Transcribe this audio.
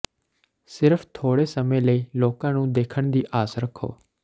ਸਿਰਫ ਥੋੜ੍ਹੇ ਸਮੇਂ ਲਈ ਲੋਕਾਂ ਨੂੰ ਦੇਖਣ ਦੀ ਆਸ ਰੱਖੋ